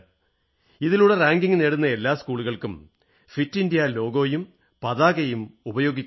ഇതിലൂടെ റാങ്കിംഗ് നേടുന്ന എല്ലാ സ്കൂളുകൾക്കും ഫിറ്റ് ഇന്ത്യാ ലോഗോയും പതാകയും ഉപയോഗിക്കാനാകും